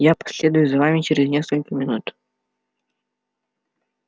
я последую за вами через несколько минут